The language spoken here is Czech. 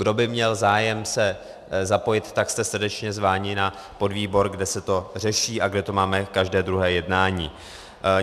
Kdo by měl zájem se zapojit, tak jste srdečně zváni na podvýbor, kde se to řeší a kde to máme každé druhé jednání.